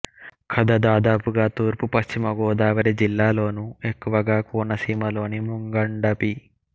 కథ దాదాపుగా తూర్పు పశ్చిమ గోదావరి జిల్లాలలోనూ ఎక్కువగా కోనసీమలోని ముంగండ పి